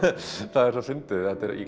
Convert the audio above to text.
það er svo fyndið í